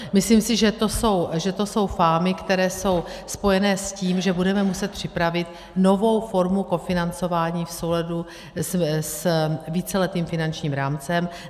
Myslím si, že to jsou fámy, které jsou spojené s tím, že budeme muset připravit novou formu kofinancování v souladu s víceletým finančním rámcem.